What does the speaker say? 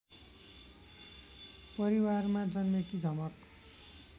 परिवारमा जन्मेकी झमक